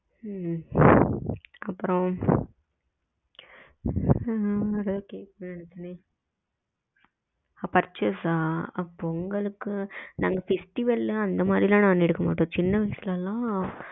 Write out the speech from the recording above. ம் அப்றம் ஏதோ கேக்கனும்னு நெனச்ச பொங்கலுக்கு purchase எல்லாம் போகலையா? purchase அஹ பொங்கலுக்கு நாங்க festival அந்த மாரி எல்லாம் எடுக்க மாட்டோம் சின்ன வயசுல தான்